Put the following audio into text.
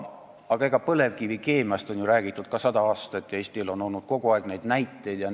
Aga põlevkivikeemiast on ju räägitud sada aastat ja Eestil on kogu aeg neid näiteid olnud.